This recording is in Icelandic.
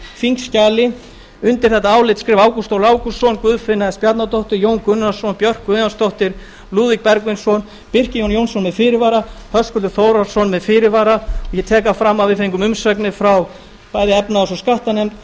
þingskjali undir þetta álit skrifa ágúst ólafur ágústsson guðfinna s bjarnadóttir jón gunnarsson björk guðjónsdóttir birgir ármannsson lúðvík bergvinsson birkir j jónsson með fyrirvara höskuldur þórhallsson með fyrirvara ég tek það fram að við fengum umsagnir frá bæði efnahags og skattanefnd